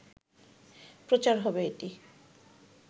প্রচার হবে এটি